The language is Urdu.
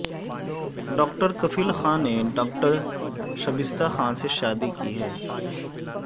ڈاکٹر کفیل خان نے ڈاکٹر شبستہ خان سے شادی کی ہے